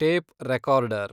tape recorder